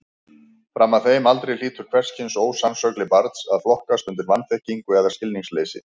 Fram að þeim aldri hlýtur hvers kyns ósannsögli barns að flokkast undir vanþekkingu eða skilningsleysi.